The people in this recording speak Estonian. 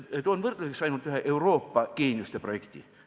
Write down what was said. Toon võrdluseks ainult ühe Euroopa geeniuste projekti.